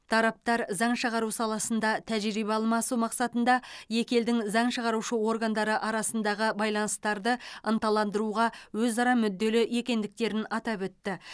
тараптар заң шығару саласында тәжірибе алмасу мақсатында екі елдің заң шығарушы органдары арасындағы байланыстарды ынталандыруға өзара мүдделі екендіктерін атап өтті